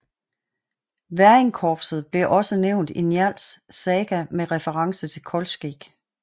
Væringkorpset bliver også nævnt i Njáls saga med reference til Kolskegg